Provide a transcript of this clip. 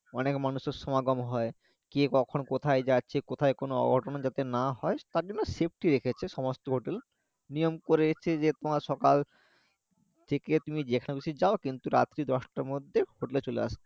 অনেক মানুষের সমাগম হয় কে কখন কোথায় যাচ্ছে কোথায় কোনো অঘটন যাতে না হয় তার জন্য safety রেখেছে সমস্ত hotel নিয়ম করে আসছে যে সকাল থেকে তুমি যেখান খুশি যায় কিন্তু রাত্রে দশটার মধ্যে hotel চলে আসতে হবে